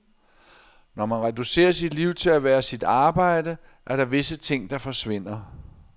Når man reducerer sit liv til at være sit arbejde, er der visse ting der forsvinder.